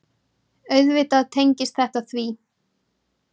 Auðvitað tengist þetta því.